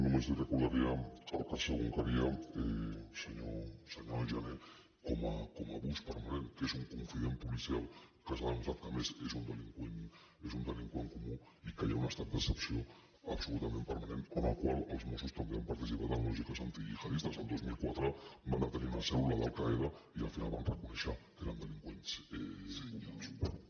només li recordaria el cas egunkaria senyor jané com a abús permanent que és un confident policial que s’ha demostrat que a més és un delinqüent comú i que hi ha un estat d’excepció absolutament permanent en el qual els mossos també han participat en lògiques antigihadistes el dos mil quatre van detenir una cèl·lula d’alqaida i al final van reconèixer que eren delinqüents comuns